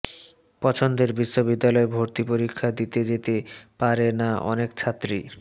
পছন্দের বিশ্ববিদ্যালয়ে ভর্তি পরীক্ষা দিতে যেতে পারে না অনেক ছাত্রী